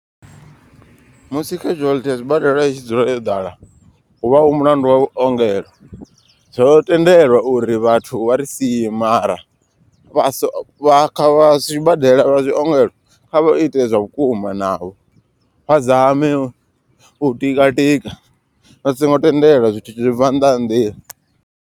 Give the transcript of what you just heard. Musi casualty ya zwibadela i dzule yo ḓala hu vha hu mulandu wa vhuongelo. Zwo tendelwa uri vhathu vha ri sie mara vhaso kha vha sibadela vha zwiongelo kha vha ite zwa vhukuma navho. Vha zame u tika tika vha songo tendela zwithu zwi tshi bva nnḓa ha nḓila.